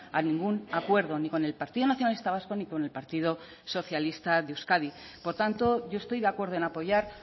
a ningún acuerdo ni con el partido nacionalista vasco ni con el partido socialista de euskadi por tanto yo estoy de acuerdo en apoyar